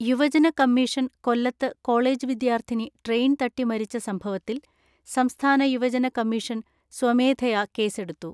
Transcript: യുവജന കമ്മീഷൻ കൊല്ലത്ത് കോളേജ് വിദ്യാർത്ഥിനി ട്രെയിൻ തട്ടി മരിച്ച സംഭവത്തിൽ സംസ്ഥാന യുവജന കമ്മീഷൻ സ്വമേധയാ കേസെടുത്തു.